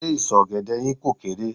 Ṣé ìsọ̀ ọ̀gẹ̀dẹ̀ yín kò kééré?